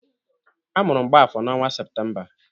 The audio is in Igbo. A mụrụ Mgbafor n'ọnwa Septemba.